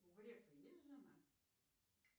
у грефа есть жена